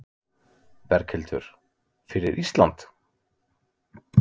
Berghildur: Fyrir Ísland?